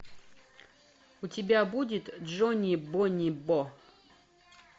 у тебя будет джони бони бо